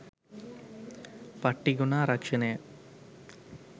පට්ටිගොනා රක්ෂණය.